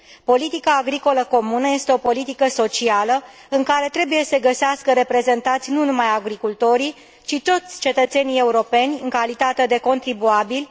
Politica agricolă comună este o politică socială, în care trebuie să se găsească reprezentați nu numai agricultorii, ci toți cetățenii europeni, în calitate de contribuabili.